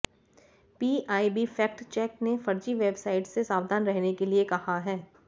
PIB fact check ने फर्जी website से सावधान रहने के लिए कहा है